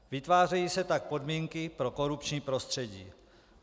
Vytvářejí se tak podmínky pro korupční prostředí.